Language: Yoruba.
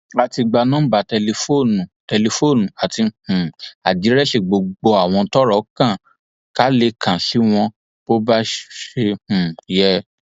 a ti gba nọmba tẹlifóònù tẹlifóònù àti um àdírẹsì gbogbo àwọn tọrọ kàn ká lè kàn sí wọn bó ṣe um yẹ